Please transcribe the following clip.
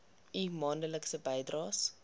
u maandelikse bydraes